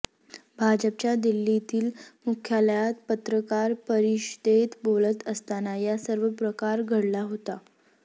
भाजपच्या दिल्लीतील मुख्यालयात पत्रकार परिषदेत बोलत असताना या सर्व प्रकार घडला होता